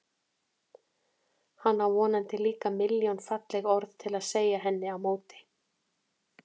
Hann á vonandi líka milljón falleg orð til að segja henni á móti.